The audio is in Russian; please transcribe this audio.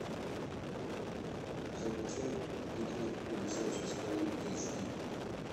закачай пикник у висячей скалы эйч ди